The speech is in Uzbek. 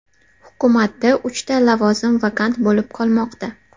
Hukumatda uchta lavozim vakant bo‘lib qolmoqda.